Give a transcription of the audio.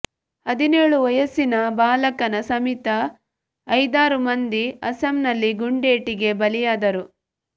ಹದಿನೇಳು ವಯಸ್ಸಿನ ಬಾಲಕನ ಸಮೇತ ಐದಾರು ಮಂದಿ ಅಸ್ಸಾಂನಲ್ಲಿ ಗುಂಡೇಟಿಗೆ ಬಲಿಯಾದರು